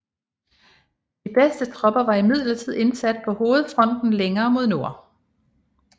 De bedste tropper var imidlertid indsat på hovedfronten længere mod nord